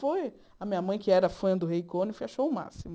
Foi a minha mãe, que era fã do Rei Conif, achou o máximo.